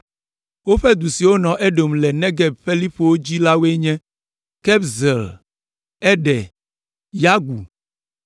Woƒe du siwo nɔ Edom le Negeb ƒe liƒowo dzi woe nye: Kabzeel, Eder, Yagur,